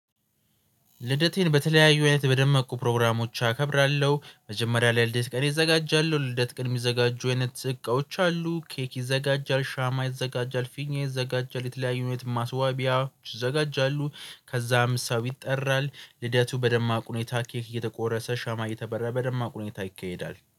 ልደቴን በተለያዩ አይነት በደመቁ ፕሮግራሞች አከብራለሁ መጀመሪያ ላይ ለልደት ቀኔ እዘጋጃለሁ። ልደት ቀን የሚዘጋጁ አይነት እቃዎች አሉ ኬክ ይዘጋጃል ሻማ ይዘጋጃል ፊኛ ይዘጋጃል የተለያዩ አይነት ማስዋቢያዎች ይዘጋጃሉ። ከዛም ሰው ይጠራል ልደቱ በደማቁ ሁኔታ ኬክ እየተቆረሰ ሻማ እየተበራ በደማቁ ሁኔታ ይካሄዳል